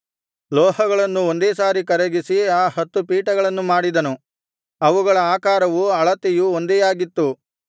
ಲೋಹಗಳನ್ನು ಒಂದೇ ಸಾರಿ ಕರಗಿಸಿ ಆ ಹತ್ತು ಪೀಠಗಳನ್ನು ಮಾಡಿದನು ಅವುಗಳ ಆಕಾರವು ಅಳತೆಯೂ ಒಂದೇಯಾಗಿತ್ತು